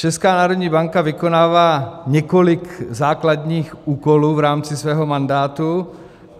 Česká národní banka vykonává několik základních úkolů v rámci svého mandátu.